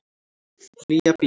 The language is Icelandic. Nýja bíó